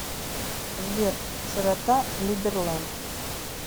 сбер широта либерленд